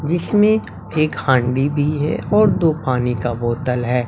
जिसमें एक हांडी भी है और दो पानी का बोतल है।